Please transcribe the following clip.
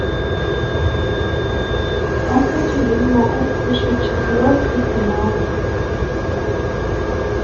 здравствуйте я не могу включить четвертый канал